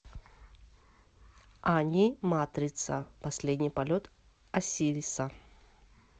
аниматрица последний полет осириса